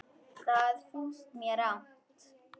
Það finnst mér rangt.